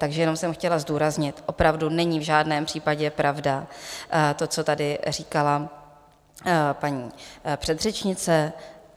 Takže jenom jsem chtěla zdůraznit, opravdu není v žádném případě pravda to, co tady říkala paní předřečnice.